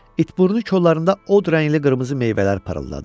İtburnu kollarında od rəngli qırmızı meyvələr parıldadı.